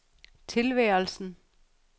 tilværelsen